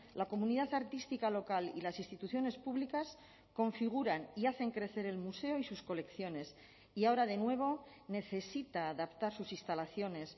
la comunidad artística local y las instituciones públicas configuran y hacen crecer el museo y sus colecciones y ahora de nuevo necesita adaptar sus instalaciones